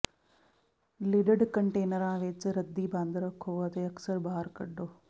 lidded ਕੰਟੇਨਰਾਂ ਵਿੱਚ ਰੱਦੀ ਬੰਦ ਰੱਖੋ ਅਤੇ ਅਕਸਰ ਬਾਹਰ ਕੱਢੋ